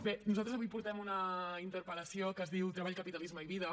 bé nosaltres avui portem una interpel·lació que es diu treball capitalisme i vida